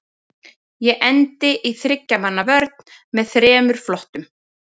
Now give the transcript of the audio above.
Ég endi í þriggja manna vörn með þremur flottum.